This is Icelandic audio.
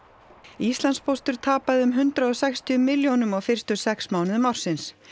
Íslandspóstur tapaði um hundrað og sextíu milljónum á fyrstu sex mánuðum ársins